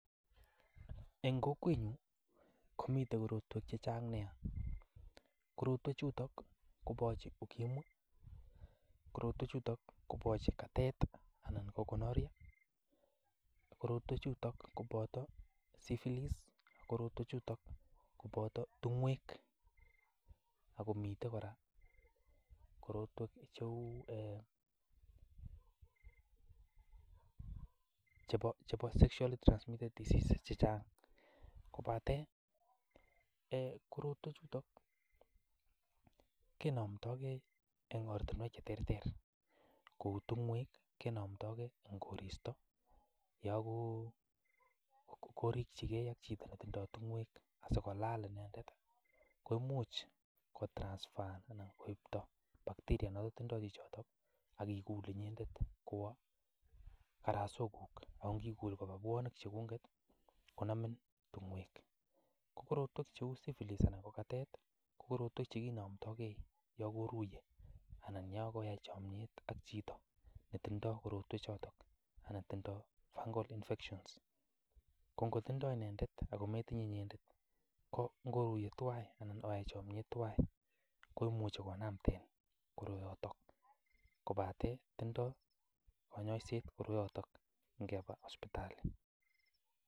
En kokwenyun komitin korotwek che chang nyaa. Korotwechuto koboche UKIMWI, katet anan gonorrhoea, syphylis, tung'oek. Ago miten kora korotwek cheu chebo sexually transmitted che chang. Kobate korotwechuto kenamdagei en ortinwek che terter; kou tung'oek kinamdage en koristo yon korikyi e ak chito netindo tung'oek asikolaal en yotet koimuch koipto virus netinye chichot ak igul inyendet kwo karaswekuk. Ago ingikul koba bwonik cheguket konamin tung'oek. Ko korotweck cheu syphylis anan ko katet, ko korotwek che kinamdage yon koruiye anan yon koyai chamyet ak chito netindo korotwechoto anan ko chito netindo fungal infections. Ko ngotindo inendet ametinye inyendet, ko ngoruiye twan anan oyai chomyet twan, koimuchi konamden koroyoton, kobate tindo konyoisiet koroyoto ingeba sipitali.